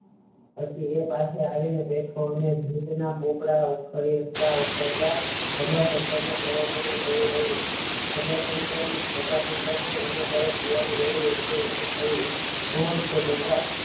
પછી એ પાસે આવી ને બેઠો અને ભીત પોપડા ઉખેરતા ઉખેરતાં પ્રભાશંકર ના પ્રયત્નો ને જોય રહ્યો પ્રભાશંકર નુ એમનાં તરફ ધ્યાન ગયું એટલે એમને કહ્યું કોણ છો બેટા